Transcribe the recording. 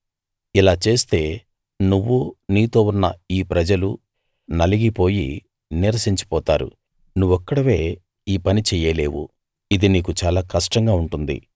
ఇలా చేస్తే నువ్వూ నీతో ఉన్న ఈ ప్రజలూ నలిగిపోయి నీరసించి పోతారు నువ్వొక్కడివే ఈ పని చెయ్యలేవు ఇది నీకు చాలా కష్టంగా ఉంటుంది